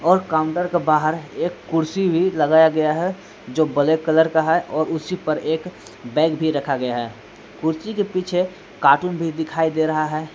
और काउंटर के बाहर एक कुर्सी भी लगाया गया है जो ब्लैक कलर का है और उसी पर एक बैग भी रखा गया है कुर्सी के पीछे कार्टून भी दिखाई दे रहा है।